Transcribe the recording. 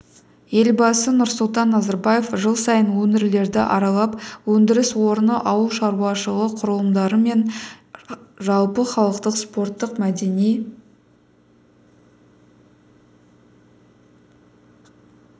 елбасы нұрсұлтан назарбаев жыл сайын өңірлерді аралап өндіріс орны ауыл шаруашылығы құрылымдары мен жалпыхалықтық спорттық мәдени